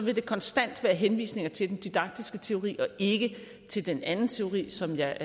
er der konstant henvisninger til den didaktiske teori og ikke til den anden teori som jeg